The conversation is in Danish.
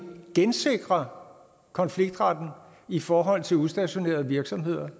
gensikrer konfliktretten i forhold til udstationerede virksomheder